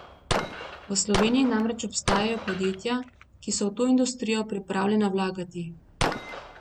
V Sloveniji namreč obstajajo podjetja, ki so v to industrijo pripravljena vlagati.